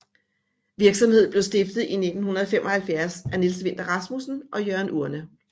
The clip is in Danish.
Virksomheden blev stiftet i 1975 af Niels Vinther Rasmussen og Jørgen Urne